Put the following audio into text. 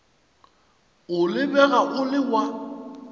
o lebega o le wa